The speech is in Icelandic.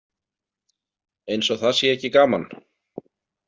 Eins og það sé ekki gaman.